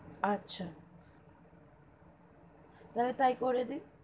আচ্ছা তাহলে তাই করে দিন.